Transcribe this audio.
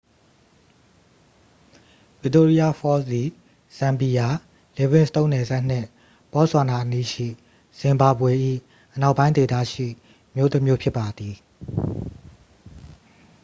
victoria falls သည် ဇမ်ဘီယာ livingstone နယ်စပ်နှင့် ဘော့ဆွာနာအနီးရှိ ဇင်ဘာဘွေ၏ အနောက်ပိုင်းဒေသရှိ မြို့တစ်မြို့ဖြစ်ပါသည်